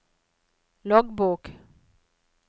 loggbok